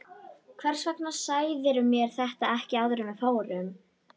Hvers vegna sagðirðu mér þetta ekki áður en við fórum?